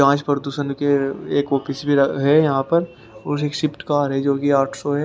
पर के एक ऑफिस भी है यहां पर और एक स्विफ्ट कार है जो कि आठ सौ है।